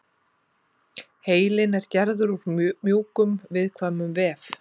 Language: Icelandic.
heilinn er gerður úr mjög mjúkum og viðkvæmum vef